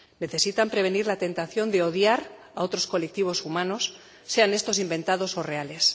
Necesitan prevenir la tentación de odiar a otros colectivos humanos, sean estos inventados o reales